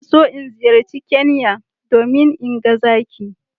Zan so in ziyarci Kenya domin in ga zaki